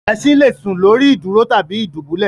Esin le sùn lórí ìdúró tàbí ni ìdúbulẹ̀